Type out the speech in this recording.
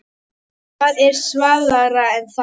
Hvað er svalara en það?